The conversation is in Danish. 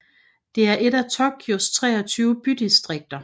er et af Tokyos 23 bydistrikter